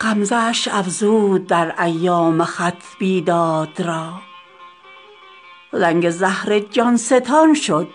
غمزه اش افزود در ایام خط بیداد را زنگ زهر جانستان شد